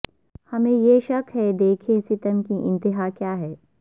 ہمیںیہ شک ہے دیکھیں ستم کی انتہا کیا ہے